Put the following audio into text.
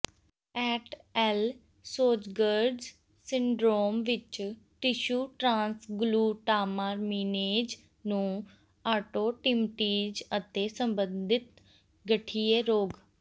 at al Sjogren's syndrome ਵਿਚ tissue transglutaminase ਨੂੰ autoantibodies ਅਤੇ ਸੰਬੰਧਿਤ ਗਠੀਏ ਰੋਗ